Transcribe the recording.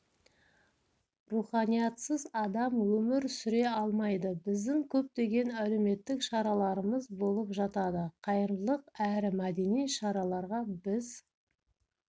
руханиятсыз адам өмір сүре алмайды біздің көптеген әлеуметтік шараларымыз болып жатады қайырымдылық әрі мәдени шараларға біз